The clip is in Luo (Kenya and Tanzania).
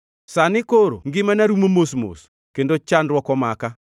“Sani koro ngimana rumo mos mos; kendo chandruok omaka.